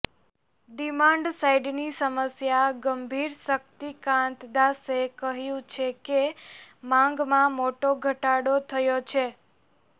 demand સાઈડની સમસ્યા ગંભીરશક્તિકાંત દાસે કહ્યું છે કે માંગમાં મોટો ઘટાડો થયો છે